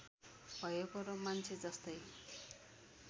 भएको र मान्छेजस्तै